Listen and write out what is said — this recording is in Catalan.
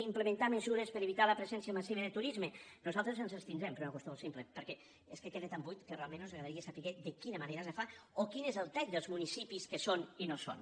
implementar mesures per a evitar la pre·sència massiva de turisme nosaltres ens abstindrem per una qüestió molt simple perquè és que queda tan buit que realment nos agradaria saber de quina mane·ra se fa o quin és el tall dels municipis que hi són i no hi són